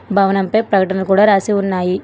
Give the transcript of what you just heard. భవనం పై ప్రకటన కూడా రాసి ఉన్నాయి.